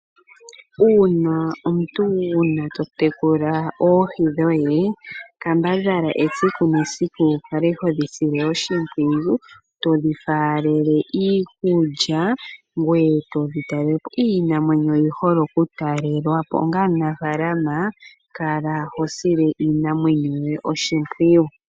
Uuna omuntu wuna totekula oohi dhoye kambadhala esiku nesiku wukale hodhi sile oshimpwiyu todhifaalele iikulya ngoye todhitalele po. Iinamwenyo oyihole okutalwelwa po, onga omunafaalama kala hosile iinamwenyo yoye oshimpwiyu.